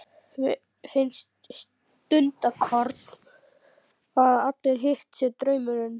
Finnst stundarkorn að allt hitt sé draumur.